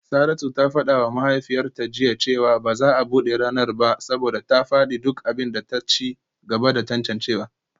Saratu ta fada wa mahaifiyarta jiya cewa ba za a bude ranar ba saboda ta fadi duk abin da ta ci gaba da tantancewa